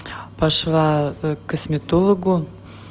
пошла к косметологу